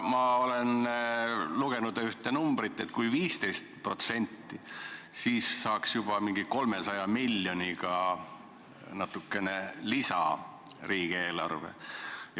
Ma olen lugenud ühte arvamust, et kui vähendada 15%, siis saaks riigieelarvesse lisa 300 miljonit eurot.